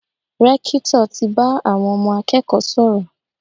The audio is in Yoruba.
Rẹ́kítọ̀ ti bá àwọn ọmọ akẹ́kọ̀ọ́ sọ̀rọ̀.